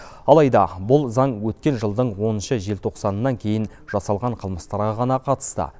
алайда бұл заң өткен жылдың оныншы желтоқсанынан кейін жасалған қылмыстарға ғана қатысты